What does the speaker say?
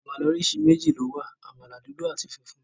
Àmàlà oríṣi méjì ló wà, àmàlà dúdú àti funfun.